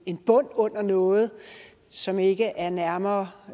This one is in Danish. en bund under noget som ikke er nærmere